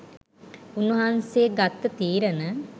උන්වහන්සේ ගත්ත තීරණ